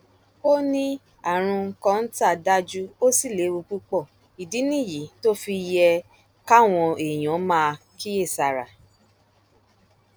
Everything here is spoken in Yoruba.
ó ní àrùn kọńtà dájú ó sì léwu púpọ ìdí nìyí tó fi yẹ káwọn èèyàn máa kíyèsára